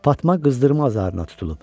Fatma qızdırma zarına tutulub.